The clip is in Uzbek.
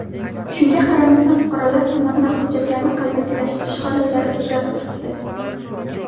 Shunga qaramasdan fuqarolar tomonidan hujjatlarni qalbakilashtirish holatlari uchrab turibdi.